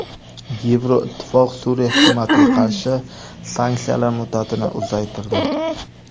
Yevroittifoq Suriya hukumatiga qarshi sanksiyalar muddatini uzaytirdi.